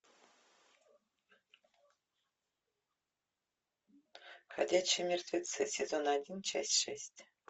ходячие мертвецы сезон один часть шесть